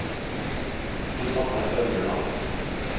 Susanne Øverland